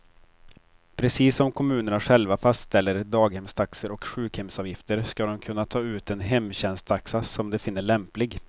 Precis som kommunerna själva fastställer daghemstaxor och sjukhemsavgifter ska de kunna ta ut den hemtjänsttaxa som de finner lämplig.